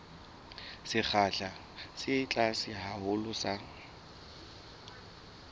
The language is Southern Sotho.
sekgahla se tlase haholo sa